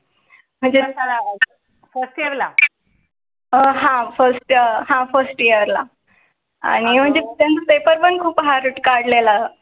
हां हां first हां first year ला आणि म्हणजे त्यांचे पेपर पण खूप हार्ट काढले ला